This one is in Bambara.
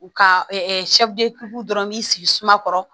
U ka ɛɛ dɔrɔn b'i sigi sumakɔrɔ